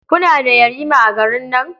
Kuna da yarima a garin nan?